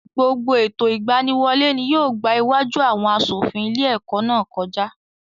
Gbogbo ètò ìgbaniwọlé ni yóò gbá iwájú àwọn aṣòfin ilé-ẹ̀kọ́ náà kọjá.